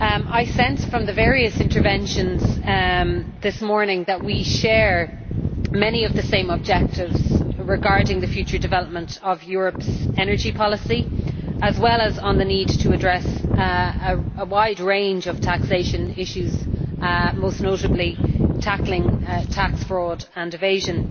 I sense, from the various interventions this morning, that we share many of the same objectives regarding the future development of Europe's energy policy, as well as on the need to address a wide range of taxation issues, most notably tackling tax fraud and evasion.